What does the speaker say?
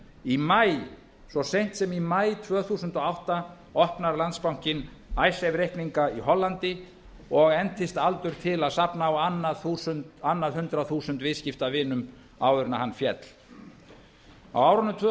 í maí svo seint sem í maí tvö þúsund og átta opnar landsbankinn icesave reikninga í hollandi og entist aldur til að safna á annað hundrað þúsund viðskiptavinum áður en hann féll á árunum tvö